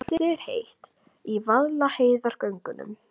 Loftið er heitt í Vaðlaheiðargöngum.